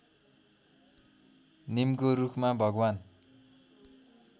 निमको रुखमा भगवान्